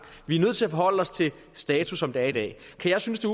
vi er nødt til at forholde os til status som det er i dag kan jeg synes det